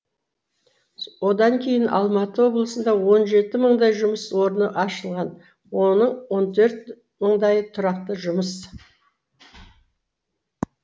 одан кейін алматы облысында он жеті мыңдай жұмыс орны ашылған оның он төрт мыңдайы тұрақты жұмыс